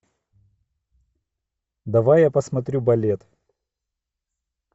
давай я посмотрю балет